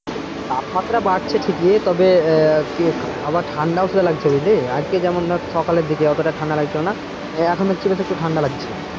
তাপমাত্রা বাড়ছে ঠিকই তবে আহ আবার ঠান্ডাও লাগছে বুঝলি আজকে যা ধর সকালের দিকে অতটা ঠান্ডা লাগছিল না এখন দেখছি বেশ একটু ঠান্ডা লাগছে,